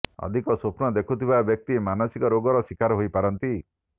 ଅଧିକ ସ୍ୱପ୍ନ ଦେଖୁଥିବା ବ୍ୟକ୍ତି ମାନସିକ ରୋଗର ଶିକାର ହୋଇପାରନ୍ତି